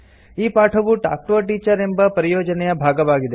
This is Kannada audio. ಈ ಪಾಠವು ಟಾಲ್ಕ್ ಟಿಒ a ಟೀಚರ್ ಎಂಬ ಪರಿಯೋಜನೆಯ ಭಾಗವಾಗಿದೆ